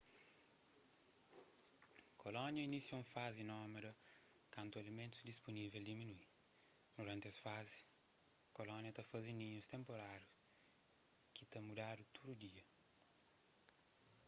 kolónia inisia un fazi nómada kantu alimentus dispunível diminui duranti es fazi kólonia ta faze ninhus tenpurárius ki ta mudadu tudu dia